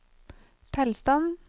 tilstand